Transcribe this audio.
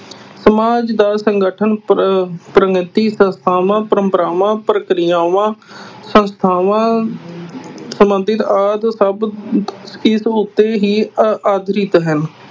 ਸਮਾਜ ਦਾ ਸੰਗਠਨ, ਪਰ ਅਹ ਪ੍ਰਵਿਰਤੀ, ਪ੍ਰਥਾਵਾਂ, ਪਰੰਪਰਾਵਾਂ, ਪ੍ਰਕਿਰਿਆਵਾਂ, ਸੰਸਥਾਵਾਂ ਸਬੰਧਤ ਆਦਿ ਸਭ ਤੋਂ ਉੱਤੇ ਹੀ ਹਨ।